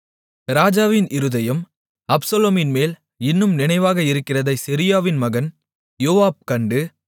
ராஜாவின் இருதயம் அப்சலோமின் மேல் இன்னும் நினைவாக இருக்கிறதைச் செருயாவின் மகன் யோவாப் கண்டு